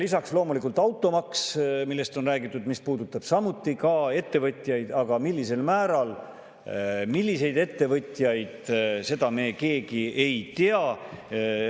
Lisaks loomulikult automaks, millest on räägitud ja mis puudutab samuti ettevõtjaid, aga millisel määral ja milliseid ettevõtjaid, seda me keegi ei tea.